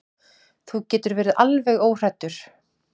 Þú getur verið alveg óhræddur.